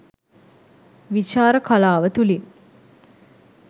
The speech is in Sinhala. විචාර කලාව තුළින්